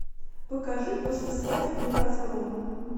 покажи послесвадебный разгром